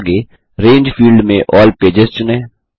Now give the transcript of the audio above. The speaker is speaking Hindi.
आगे रंगे फील्ड में अल्ल पेजेस चुनें